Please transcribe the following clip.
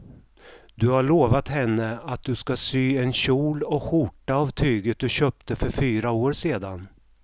Du har lovat henne att du ska sy en kjol och skjorta av tyget du köpte för fyra år sedan.